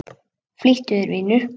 Flýttu þér, vinur.